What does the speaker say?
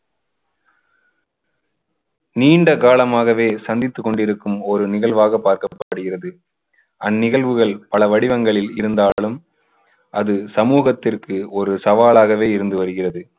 நீண்ட காலமாகவே சந்தித்துக் கொண்டிருக்கும் ஒரு நிகழ்வாக பார்க்கப்படுகிறது. அந்நிகழ்வுகள் பல வடிவங்களில் இருந்தாலும் அது சமூகத்திற்கு ஒரு சவாலாகவே இருந்து வருகிறது.